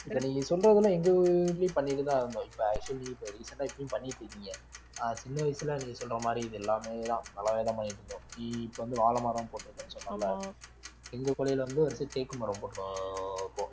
இத நீங்க சொல்றதெல்லாம் எங்க ஊர்லயும் பண்ணிட்டுதான் இருந்தோம் இப்ப actually இப்ப recent ஆ இப்பயும் பண்ணிட்டு இருக்கீங்க ஆஹ் சின்ன வயசுல நீ சொல்ற மாதிரி இது எல்லாமேதான் பலவிதமா இருந்தோம் நீ இப்ப வந்து வாழைமரம் போட்டிருக்குன்னு சொன்னேன்ல எங்க குழியில வந்து தேக்கு மரம் போட்டுருக்காங்க இப்போ